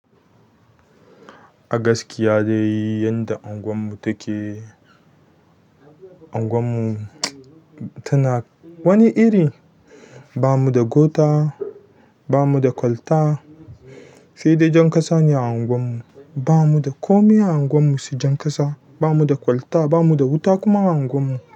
Agaskiya dai yanda unguwar mu take, unguwar mu tana wani iri. Bamuda kwata bamuda kwalta saidai jan ƙasa ne a anguwarmu ba mu da kome a anguwar mu su jan ƙasa. Ba mu da kwalta, ba mu da wuta kuma a anguwar mu.